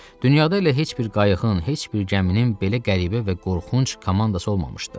Dünyada elə heç bir qayığın, heç bir gəminin belə qəribə və qorxunc komandası olmamışdı.